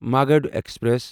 Magadh express